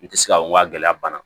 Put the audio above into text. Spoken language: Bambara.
N tɛ se ka n ka gɛlɛya banna